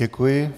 Děkuji.